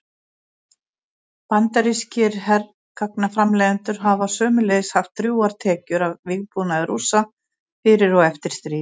Bandarískir hergagnaframleiðendur hafa sömuleiðis haft drjúgar tekjur af vígbúnaði Rússa fyrir og eftir stríð.